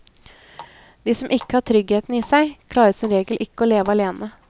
De som ikke har tryggheten i seg, klarer som regel ikke å leve alene.